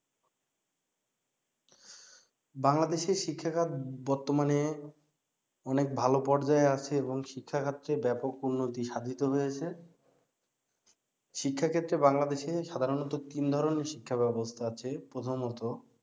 বাংলাদেশের শিক্ষাখাত বর্তমানে অনেক ভালো পর্যায়ে আছে এবং শিক্ষাক্ষেত্রে ব্যাপক উন্নতি সাধিত হয়েছে শিক্ষাক্ষেত্রে বাংলাদেশে সাধারণত তিন ধরনের শিক্ষা ব্যাবস্থা আছে প্রথমত